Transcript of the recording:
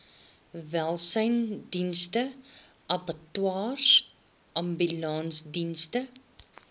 welsynsdienste abattoirs ambulansdienste